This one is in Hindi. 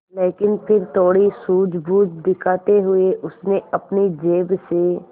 लेकिन फिर थोड़ी सूझबूझ दिखाते हुए उसने अपनी जेब से